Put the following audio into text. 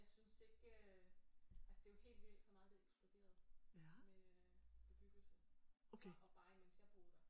Jeg synes ikke øh altså det er jo helt vildt så meget det er eksploderet med øh bebyggelse fra og bare imens jeg boede der